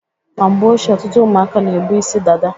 Na mgbe ochie, ọtụtụ ụmụaka na-ebu isi dada.